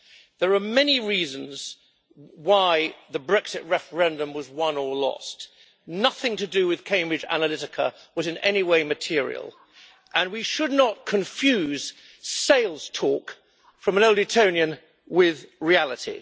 There are many reasons why the Brexit referendum was won or lost, nothing to do with Cambridge Analytica was in any way material, and we should not confuse sales talk from an old Etonian with reality.